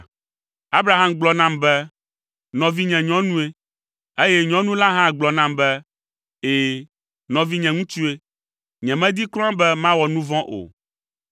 Abraham gblɔ nam be, ‘Nɔvinye nyɔnue,’ eye nyɔnu la hã gblɔ nam be, ‘Ɛ̃, nɔvinye ŋutsue.’ Nyemedi kura be mawɔ nu vɔ̃ o.”